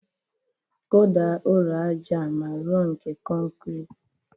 Kụda ụlọ aja a ma rọ nke kọnkrị